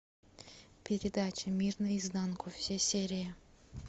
передача мир наизнанку все серии